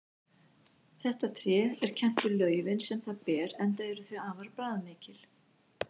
Þetta tré er kennt við laufin sem það ber enda eru þau afar bragðmikil.